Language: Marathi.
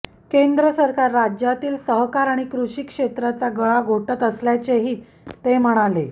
केंद्र सरकार राज्यांतील सहकार आणि कृषी क्षेत्राचा गळा घोटत असल्याचेही ते म्हणाले